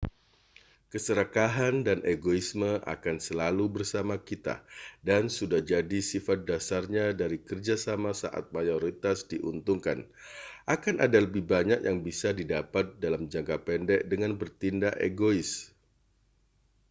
keserakahan dan egoisme akan selalu bersama kita dan sudah jadi sifat dasarnya dari kerja sama saat mayoritas diuntungkan akan ada lebih banyak yang bisa didapat dalam jangka pendek dengan bertindak egois